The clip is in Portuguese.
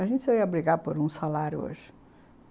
A gente só ia brigar por um salário hoje.